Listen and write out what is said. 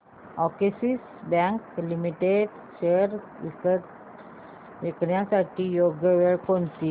Axis Bank limited shares विकण्याची योग्य वेळ कोणती